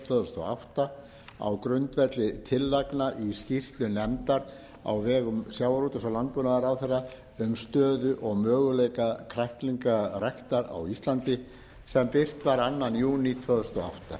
tvö þúsund og átta á grundvelli tillagna í skýrslu nefndar á vegum sjávarútvegs og landbúnaðarráðherra um stöðu og möguleika kræklingaræktar á íslandi sem birt var annar júní tvö þúsund og átta